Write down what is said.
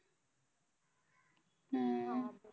हम्म हा.